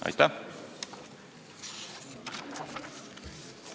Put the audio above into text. Aitäh!